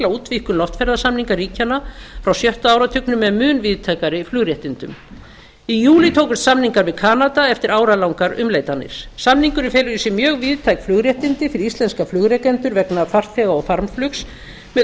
útvíkkun loftferðasamninga ríkjanna frá sjötta áratugnum með mun víðtækari flugréttindum í eðli tókust samningar við kanada eftir áralangar umleitanir samningurinn felur í sér mjög víðtæk flugréttindi fyrir íslenska flugrekendur vegna farþega og farmflugs með